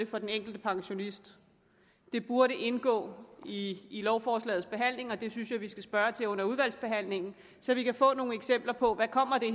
for den enkelte pensionist det burde indgå i lovforslagets behandling og det synes jeg vi skal spørge ind til under udvalgsbehandlingen så vi kan få nogle eksempler på hvad